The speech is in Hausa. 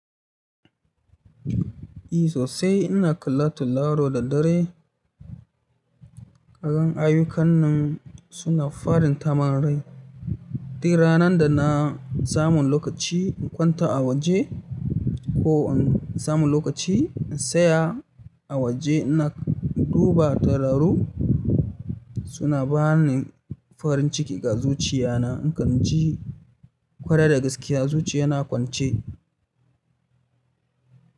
E sosai ina kallato laro da dare. Kalan ayukan nan suna farin taman rai. Duk ranan da na samu lokaci in kwanta a waje ko in samu lokaci in tsaya a waje ina duba tauraru suna bani farin ciki ga zuciya na. In kan ji kwarai da gaskiya zuciya na kwance.